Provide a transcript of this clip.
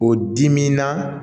O dimi na